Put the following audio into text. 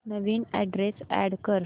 नवीन address add कर